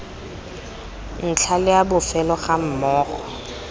ntlha le a bofelo gammogo